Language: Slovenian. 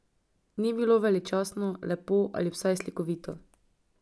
Ni bilo veličastno, lepo ali vsaj slikovito.